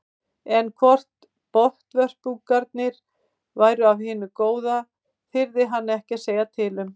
En hvort botnvörpungarnir væru af hinu góða þyrði hann ekki að segja til um.